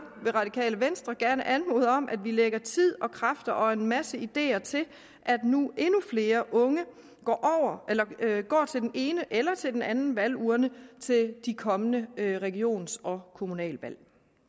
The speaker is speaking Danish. det radikale venstre gerne anmode om at vi lægger tid og kræfter og en masse ideer til at endnu flere unge går til den ene eller til den anden valgurne til de kommende regions og kommunalvalg